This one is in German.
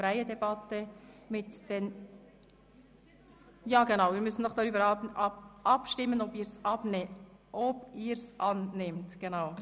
Wer dem Antrag 10 zustimmt, stimmt Ja, wer den Antrag 12 vorzieht, stimmt Nein.